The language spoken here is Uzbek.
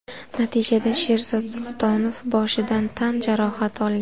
Natijada Sherzod Sultonov boshidan tan jarohati olgan.